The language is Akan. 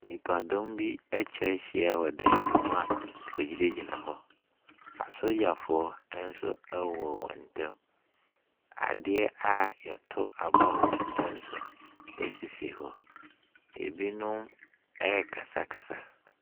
Nnipadɔm bi atwa ahyia wɔ ɛdan bi mu a wɔgyinagyina hɔ. Asogyafoɔ nso wɔ wɔn ntam. Adeɛ a yɛto aba wom nso sisi hɔ. Ebinom rekasakasa.